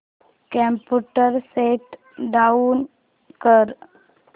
computer shut down कर